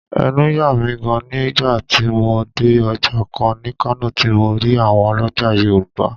Ẹnu yà mí gaan ni nígbà tí mo dé Ọjà kan ní Kano tí mo rí àwọn ọlọ́já Yorùbá